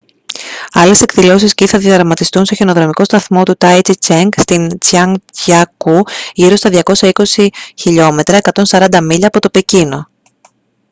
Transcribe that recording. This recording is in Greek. άλλες εκδηλώσεις σκι θα διαδραματιστούν στον χιονοδρομικό σταθμό του taizicheng στο τσανγκζιακού γύρω στα 220 χλμ 140 μίλια από το πεκίνο